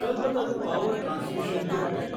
Kalpataru power transmission limited